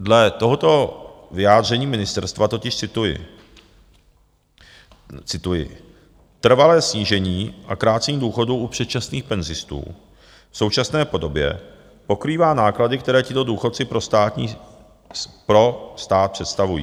Dle tohoto vyjádření ministerstva totiž - cituji: "Trvalé snížení a krácení důchodů u předčasných penzistů v současné podobě pokrývá náklady, které tito důchodci pro stát představují.